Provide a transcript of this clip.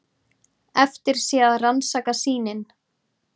Eftir sé að rannsaka sýnin.